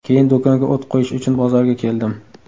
Keyin do‘konga o‘t qo‘yish uchun bozorga keldim.